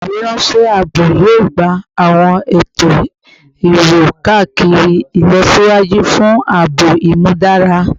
Ifiweranṣẹ aabo yoo gba awọn eto iwo-kakiri ilọsiwaju fun aabo imudara